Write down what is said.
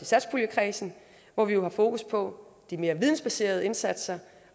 satspuljekredsen hvor vi jo har fokus på de mere vidensbaserede indsatser